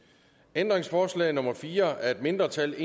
ændringsforslag nummer fire af et mindretal